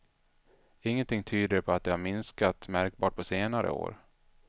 Ingenting tyder på att de har minskat märkbart på senare år.